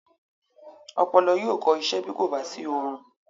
Ọpọlọ yóò kọ isẹ́ bí kò bá sí oorun.